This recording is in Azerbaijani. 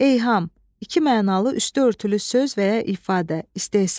Eyham, iki mənalı üstü örtülü söz və ya ifadə, istehza.